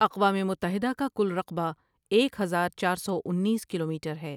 اقوام متحدہ کا کل رقبہ ایک ہزار چار سو انیس کلومیٹر ہے ۔